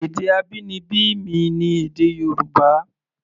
Èdè abínibí mi ni èdè Yorùbá.